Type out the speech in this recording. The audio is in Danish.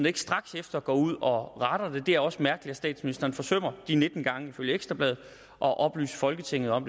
ikke straks efter går ud og retter det det er også mærkeligt at statsministeren forsømmer nitten gange ifølge ekstra bladet at oplyse folketinget om